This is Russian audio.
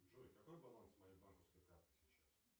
джой какой баланс моей банковской карты сейчас